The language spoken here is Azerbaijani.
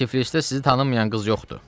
Tiflisdə sizi tanımayan qız yoxdur.